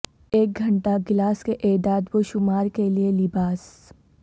ایک گھنٹہ گلاس کے اعداد و شمار کے لئے لباس